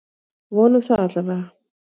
Vonum það allavega!